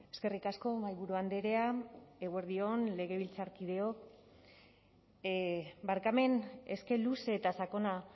eskerrik asko mahaiburu andrea eguerdi on legebiltzarkideok barkamen eske luze eta sakona